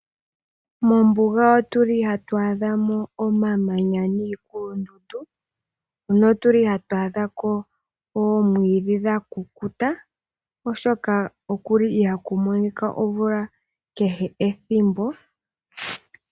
Mombuga ohatu adha mo omamanya niikulundundu notu li hatu adha ko oomwiidhi dha kukuta, oshoka oku li ihaaku monika omvula kehe ethimbo.